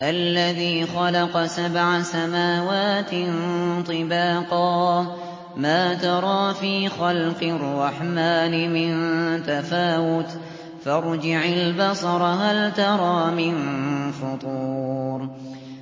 الَّذِي خَلَقَ سَبْعَ سَمَاوَاتٍ طِبَاقًا ۖ مَّا تَرَىٰ فِي خَلْقِ الرَّحْمَٰنِ مِن تَفَاوُتٍ ۖ فَارْجِعِ الْبَصَرَ هَلْ تَرَىٰ مِن فُطُورٍ